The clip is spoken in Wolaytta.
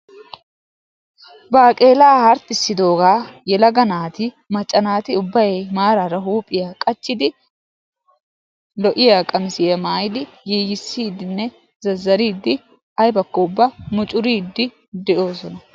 baaqeelaa harxxissidoogaa yelaga naati macca naati ubbay lo'iya qammissiya maayidi zazzariidi de'iyaageeti mucuriidi de'oosona.